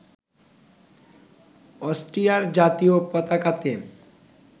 অস্ট্রিয়ার জাতীয় পতাকাতে